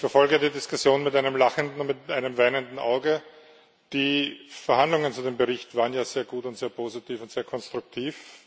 Ich verfolge die Diskussion mit einem lachenden und einem weinenden Auge. Die Verhandlungen zu dem Bericht waren ja sehr gut und sehr positiv und sehr konstruktiv.